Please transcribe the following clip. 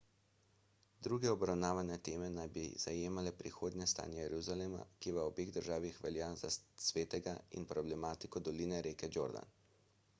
druge obravnavane teme naj bi zajemale prihodnje stanje jeruzalema ki v obeh državah velja za svetega in problematiko doline reke jordan